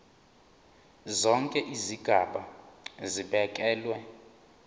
zonke izigaba zibekelwe